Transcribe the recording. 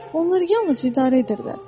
Onlar yalnız idarə edirlər.